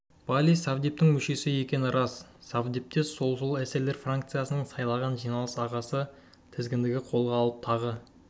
палий совдептің мүшесі екені рас совдепке солшыл эсерлер фракциясынан сайланған жиналыс ағасы тізгінді қолға алып тағы